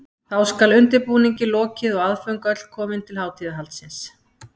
Þá skal undirbúningi lokið og aðföng öll komin til hátíðahaldsins.